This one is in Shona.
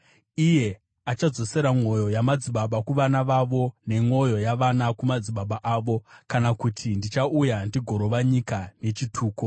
Iye achadzosera mwoyo yamadzibaba kuvana vavo, nemwoyo yavana kumadzibaba avo; kana kuti ndichauya ndigorova nyika nechituko.”